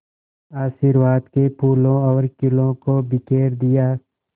आशीर्वाद के फूलों और खीलों को बिखेर दिया